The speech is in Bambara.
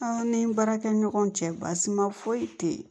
An ni baarakɛ ɲɔgɔn cɛ baasi ma foyi te yen